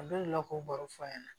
A bɛ lakoo baro fɔ a ɲɛna